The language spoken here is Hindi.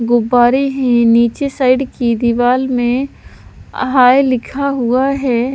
भोपारे हैं नीचे साइड की दीवार में हाय लिखा हुआ है।